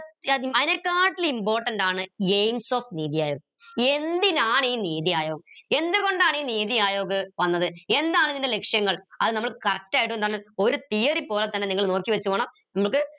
അയിനെക്കാട്ടിൽ important ആണ് aims of neethi ayog എന്തിനാണ് ഈ നീതി ആയോഗ് എന്തുകൊണ്ടാണ് ഈ നീതി ആയോഗ് വന്നത് എന്താണ് ഇതിൻറെ ലക്ഷ്യങ്ങൾ അത് നമ്മൾ correct ആയിട്ട് എന്താണ് ഒരു theory പോലെ തന്നെ നിങ്ങൾ പോണം നമുക്ക്